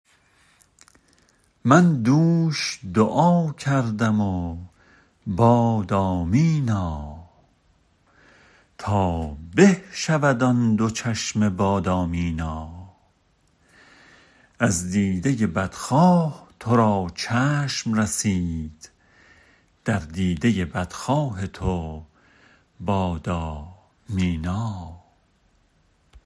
من دوش دعا کردم و باد آمینا تا به شود آن دو چشم بادامینا از دیده بدخواه تو را چشم رسید در دیده بدخواه تو بادا مینا